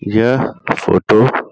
यह फोटो --